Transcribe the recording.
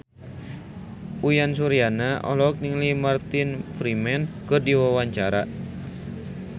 Uyan Suryana olohok ningali Martin Freeman keur diwawancara